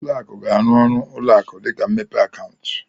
Uo akụ ga-arụ ọrụ ụlọ akụ dịka imepe akaụntụ.